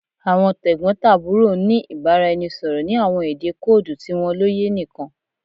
Awọn tegbotaburo n ni ibaraẹnisọrọ ni awọn ede koodu ti wọn loye nikan